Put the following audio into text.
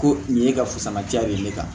Ko nin ye e ka fusaman ja de ye ne kan